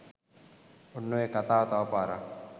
ඔන්න ඔය කතාව තවපාරක්